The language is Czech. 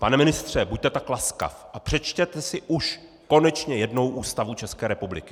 Pane ministře, buďte tak laskav a přečtěte si už konečně jednou Ústavu České republiky!